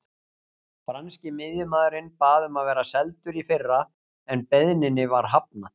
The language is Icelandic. Franski miðjumaðurinn bað um að vera seldur í fyrra en beiðninni var hafnað.